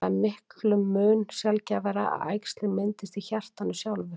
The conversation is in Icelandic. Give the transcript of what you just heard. Það er miklum mun sjaldgæfara að æxli myndist í hjartanu sjálfu.